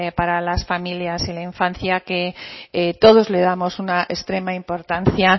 para las familias en infancia que todos le damos una extrema importancia